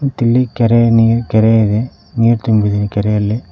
ಮತ್ತಿಲ್ಲಿ ಕೆರೆಯ ನೀರ್ ಕೆರೆ ಇದೆ ನೀರ್ ತುಂಬಿದೆ ಕೆರೆಯಲ್ಲಿ.